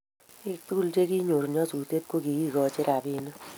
Pik tugul che kinyor nyasutet ko kikachin rapinik